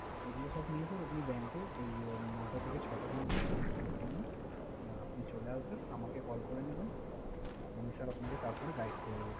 এগুলো সব নিয়ে sir আপনি bank এর ঐ নয়টা থেকে ছয়টার মধ্যে সোম থেকে শনি আপনি চলে আসবেন, আমাকে call করে নিবেন। আমি sir তারপরে আপনাকে guide করে দিবো।